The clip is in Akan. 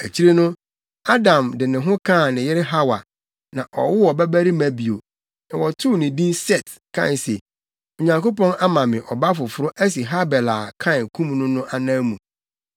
Akyiri no, Adam de ne ho kaa ne yere Hawa. Na ɔwoo ɔbabarima bio. Na wɔtoo no din Set kae se, “Onyankopɔn ama me ɔba foforo asi Habel a Kain kum no no anan mu.”